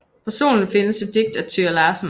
På Solen findes et digt af Thøger Larsen